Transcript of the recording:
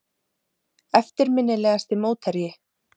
Eftirminnilegasti mótherji?